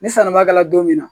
Ni sannibaa kɛla don min na